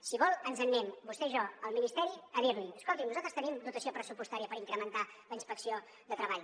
si vol ens n’anem vostè i jo al ministeri a dir li escolti’m nosaltres tenim dotació pressupostària per incrementar la inspecció de treball